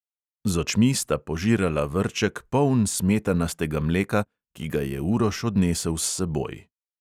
Z očmi sta požirala vrček, poln smetanastega mleka, ki ga je uroš odnesel s seboj.